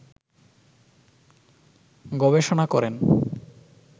গবেষণা করেন